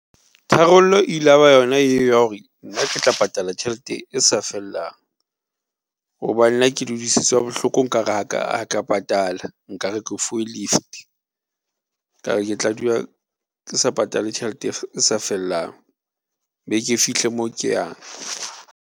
Tharollo ilaba yona eo ya hore nna ke tla patala tjhelete e sa fellang hobane nna ke hodisitswe ha bohloko nkare ha ka patala, nkare ke fuwe lift ka re ke tla dula ke sa patale tjhelete e sa fellang, be ke fihle mo ke yang.